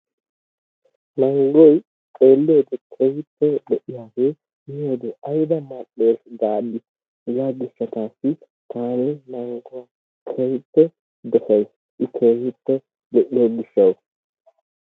Mangoy xeliyowode keehippe lo'iyagge, miyode ayba male'es gaadi hegaa gishshatasi taani mangguwaa keehippe dossaysi i keehiped lo'iyo gishshas.